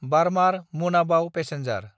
बार्मार–मुनाबाव passenger